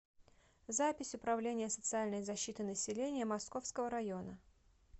запись управление социальной защиты населения московского района